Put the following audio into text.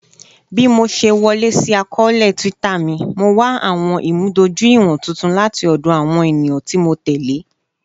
Bi mo ṣe wọle si akọọlẹ Twitter mi, Mo wa awọn imudojuiwọn tuntun lati ọdọ awọn eniyan ti Mo tẹle